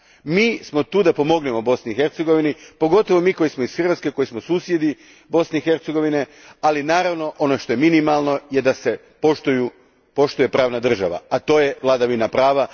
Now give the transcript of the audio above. Mi smo tu da pomognemo Bosni i Hercegovini, pogotovo mi koji smo iz Hrvatske, koji smo susjedi Bosne i Hercegovine, ali naravno ono što je minimalno je da se poštuje pravna država, a to je vladavina prava.